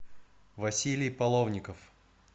василий половников